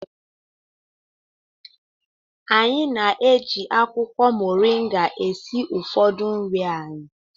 Anyị na-eji akwụkwọ mọrịnga esi ụfọdụ nri anyị.